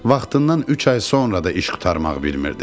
vaxtından üç ay sonra da iş qurtarmaq bilmirdi.